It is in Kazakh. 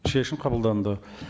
шешім қабылданды